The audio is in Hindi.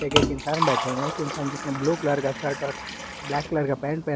एक इंसान बैठे हुए हैं एक इंसान जिसने ब्लू कलर का शर्ट और ब्लैक कलर का पैंट पह--